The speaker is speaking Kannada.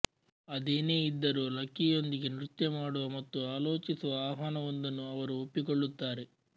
ಅದೇನೇ ಇದ್ದರೂ ಲಕಿಯೊಂದಿಗೆ ನೃತ್ಯ ಮಾಡುವ ಮತ್ತು ಆಲೋಚಿಸುವ ಆಹ್ವಾನವೊಂದನ್ನು ಅವರು ಒಪ್ಪಿಕೊಳ್ಳುತ್ತಾರೆ